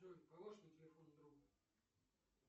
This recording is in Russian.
джой положи на телефон друга